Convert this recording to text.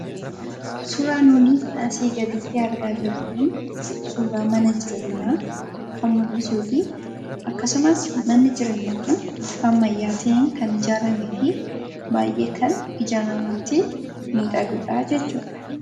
Suuraan nuti asii gaditti argaa jirru kun suuraa mana jireenyaa kan mul'isuu fi akkasumas manni jireenyaa kun haala ammayyaa ta'een kan ijaaramee fi baay'ee kan ija namaatti miidhagudhaa jechuudha.